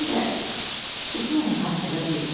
Həm də bütün bunlar səbəb deyildi axı.